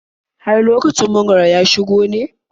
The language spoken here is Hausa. Har lokacin mangwaro ya shigo ne?